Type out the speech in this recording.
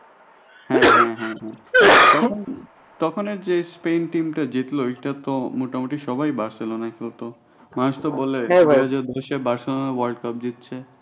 তখনের যে Spain team টা জিতল ওইটা তো মোটামুটি সবাই